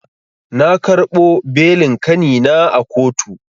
Na karɓo belin kanina a kotu.